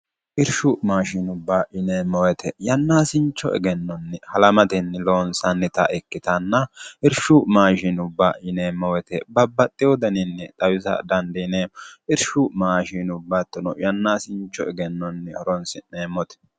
irshu maashinubba ineemmowete yannaasincho egennonni halamatenni loonsannita ikkitanna irshu maashinubba ineemmowete babbaxxe wodaninni xawisa dandiineemmo irshu maashiinubbattino yannaasincho egennonni horonsi'neemmote